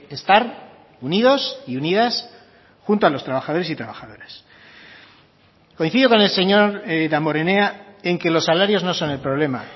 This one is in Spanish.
estar unidos y unidas junto a los trabajadores y trabajadoras coincido con el señor damborenea en que los salarios no son el problema